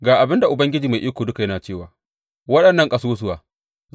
Ga abin da Ubangiji Mai Iko Duka ya ce wa waɗannan ƙasusuwa.